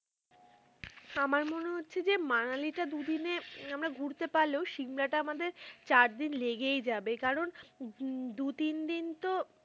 আমরা মনে হচ্ছে যে মানালি টা দু দিনে, আমরা ঘুরতে পারলেও, সিমলা টা আমাদের চার দিন লেগেই যাবে, কারণ দু তিন তো.